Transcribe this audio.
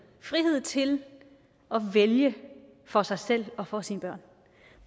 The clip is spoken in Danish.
frihed til at vælge for sig selv og for sine børn